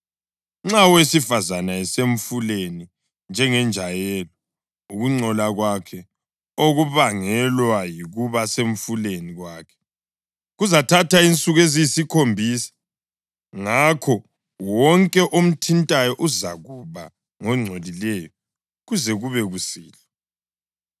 Nxa owesifazane esemfuleni njengenjayelo, ukungcola kwakhe okubangelwa yikuba semfuleni kwakhe, kuzathatha insuku eziyisikhombisa, ngakho wonke omthintayo uzakuba ngongcolileyo kuze kube kusihlwa.